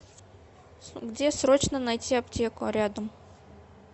где срочно найти аптеку рядом